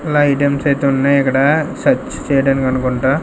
నైటమ్స్ అయితే ఉన్నాయికడ సెర్చ్ చేయడానికనుకుంటా.